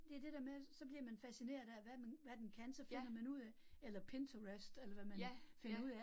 Det det der med, så bliver man fascineret af, hvad man, hvad den kan, så finder man ud af eller Pinterest eller hvad man finder ud af